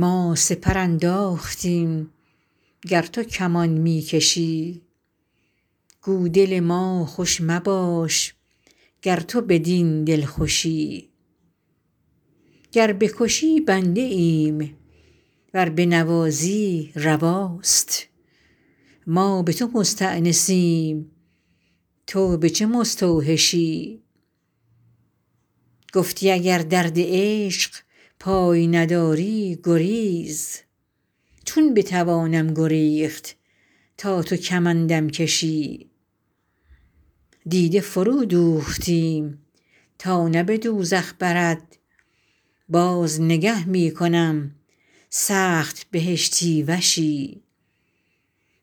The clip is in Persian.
ما سپر انداختیم گر تو کمان می کشی گو دل ما خوش مباش گر تو بدین دلخوشی گر بکشی بنده ایم ور بنوازی رواست ما به تو مستأنسیم تو به چه مستوحشی گفتی اگر درد عشق پای نداری گریز چون بتوانم گریخت تا تو کمندم کشی دیده فرودوختیم تا نه به دوزخ برد باز نگه می کنم سخت بهشتی وشی